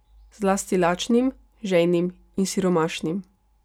Zlasti lačnim, žejnim in siromašnim.